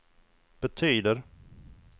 betyder